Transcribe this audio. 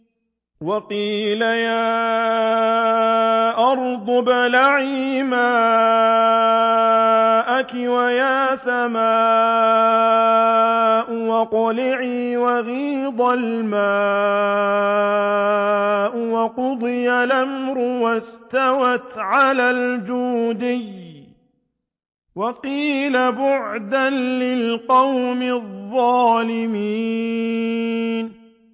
وَقِيلَ يَا أَرْضُ ابْلَعِي مَاءَكِ وَيَا سَمَاءُ أَقْلِعِي وَغِيضَ الْمَاءُ وَقُضِيَ الْأَمْرُ وَاسْتَوَتْ عَلَى الْجُودِيِّ ۖ وَقِيلَ بُعْدًا لِّلْقَوْمِ الظَّالِمِينَ